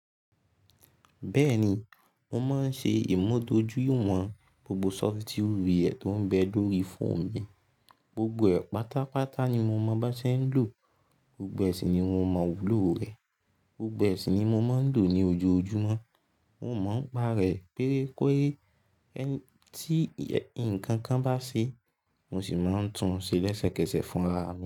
Bẹ́ẹ̀ni, mo máa ń ṣe ìmúdójúìwọ̀n gbogbo software tó ń bẹ lórí fóònù mi. Gbogbo ẹ̀ pátápátá ni mo mọ bá ṣe ń lò, gbogbo ẹ̀ sì ni mo mọ wùlò rẹ̀. Gbogbo ẹ̀ sì ni mo máa ń lò ní ojoojúmọ́. Mo máa ń pá rẹ̀ péré péré tí nkankan bá ṣe, mo sì máa ń tun ṣe lẹ́sẹ̀kẹsẹ̀ fún ara mi.